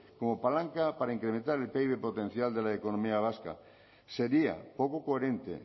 como palanca para incrementar el pib potencial de la economía vasca sería poco coherente